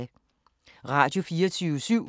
Radio24syv